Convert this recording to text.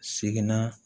Seginna